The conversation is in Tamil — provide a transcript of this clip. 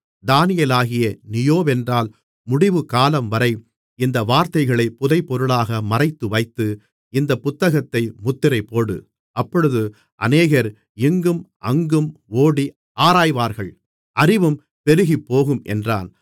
தானியேலாகிய நீயோவென்றால் முடிவுகாலம்வரை இந்த வார்த்தைகளைப் புதைபொருளாக மறைத்துவைத்து இந்தப் புத்தகத்தை முத்திரைபோடு அப்பொழுது அநேகர் இங்கும் அங்கும் ஓடி ஆராய்வார்கள் அறிவும் பெருகிப்போகும் என்றான்